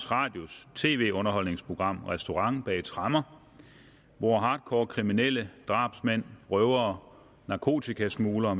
radios tv underholdningsprogram restaurant bag tremmer hvor hardcore kriminelle drabsmænd røvere narkotikasmuglere